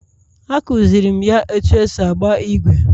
A kụziirim ya otú e si agba ígwè